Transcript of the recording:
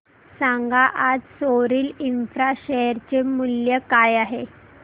सांगा आज Soril Infra share चे मूल्य काय आहे